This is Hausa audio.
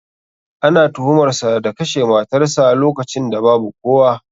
Ana tuhumar sa da kashe matarsa lokacin da babu kowa